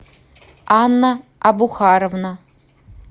анна абухаровна